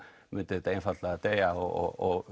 myndi þetta einfaldlega deyja og